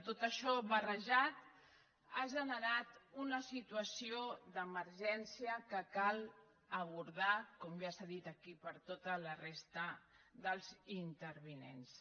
tot això barrejat ha generat una situació d’emergència que cal abordar com ja s’ha dit aquí per tota la resta dels intervinents